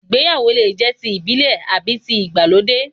Ìgbéyàwó lè jẹ́ ti ìbílẹ̀ àbí tí ìgbàlódé